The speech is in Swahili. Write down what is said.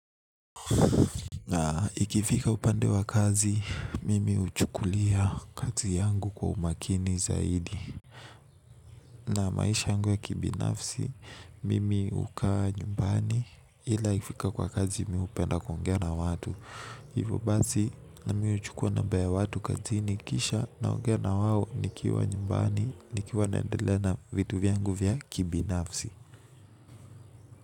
Na ikifika upande wa kazi mimi huchukulia kazi yangu kwa umakini zaidi. Na maisha yangu ya kibinafsi mimi hukaa nyumbani ila ikifika kwa kazi mimi hupenda kuongea na watu. Hivyo basi mimi huchukua namba ya watu kazini kisha naongea na wao nikiwa nyumbani nikiwa naendelea na vitu vyangu vya kibinafsi.